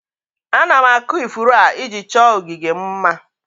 Ana m akụ ifuru a, iji chọọ ogige m mma